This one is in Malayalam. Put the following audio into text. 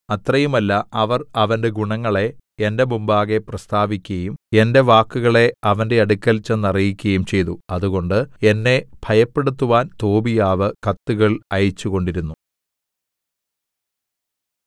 അത്രയുമല്ല അവർ അവന്റെ ഗുണങ്ങളെ എന്റെ മുമ്പാകെ പ്രസ്താവിക്കുകയും എന്റെ വാക്കുകളെ അവന്റെ അടുക്കൽ ചെന്നറിയിക്കയും ചെയ്തു അതുകൊണ്ട് എന്നെ ഭയപ്പെടുത്തുവാൻ തോബീയാവ് കത്തുകൾ അയച്ചുകൊണ്ടിരുന്നു